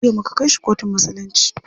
Jiya muka kai shi kotun musulunci.